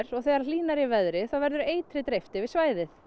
og þegar hlýnar í veðri verður eitri dreift yfir svæðið